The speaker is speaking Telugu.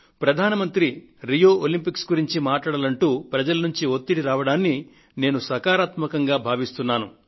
ప్రధాన మంత్రి రియో ఒలంపిక్స్ ను గురించి మాట్లాడాలి అంటూ ప్రజల నుండి ఒత్తిడి రావడాన్ని నేను సకారాత్మకమైందిగా భావిస్తున్నాను